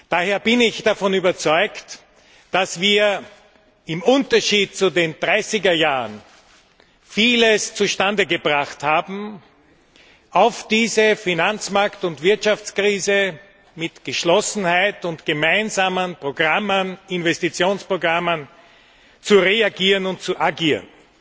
Daher bin ich davon überzeugt, dass wir im Unterschied zu den 30er Jahren vieles zustande gebracht haben nämlich auf diese Finanzmarkt und Wirtschaftskrise mit Geschlossenheit und gemeinsamen Programmen Investitionsprogrammen zu reagieren und zu agieren.